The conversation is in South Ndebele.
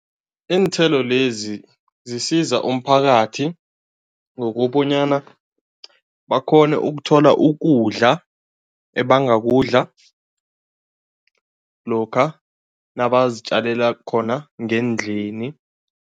Iinthelo lezi zisiza umphakathi ngokobanyana bakghone ukuthola ukudla ebangakudla lokha nabazitjalela khona ngendlini.